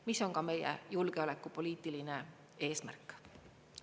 See on ka meie julgeolekupoliitiline eesmärk.